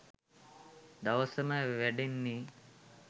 දවසම වැඩනෙ